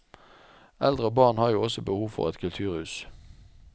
Eldre og barn har jo også behov for et kulturhus.